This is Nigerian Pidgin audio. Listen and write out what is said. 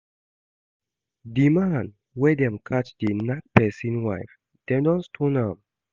The man wey dem catch dey knack person wife, dem don stone am